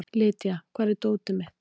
Lýdía, hvar er dótið mitt?